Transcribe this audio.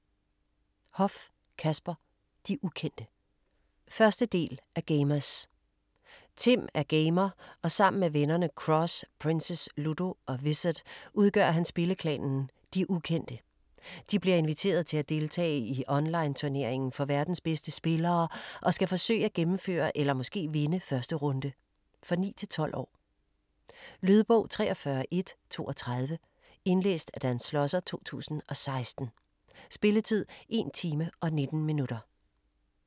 Hoff, Kasper: De ukendte 1. del af Gamerz. Tim er gamer og sammen med vennerne, Croxx, Princess, Ludo og Wizard, udgør han spilleklanen "De ukendte". De bliver inviteret til at deltage i online turneringen for verdens bedste spillere, og skal forsøge at gennemføre eller måske vinde 1. runde. For 9-12 år. Lydbog 43132 Indlæst af Dan Schlosser, 2016. Spilletid: 1 time, 19 minutter.